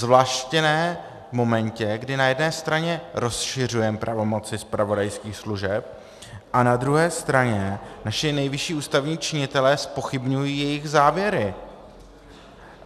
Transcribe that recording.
Zvláště ne v momentě, kdy na jedné straně rozšiřujeme pravomoci zpravodajských služeb a na druhé straně naši nejvyšší ústavní činitelé zpochybňují jejich závěry.